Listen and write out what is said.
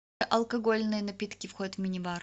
алкогольные напитки входят в минибар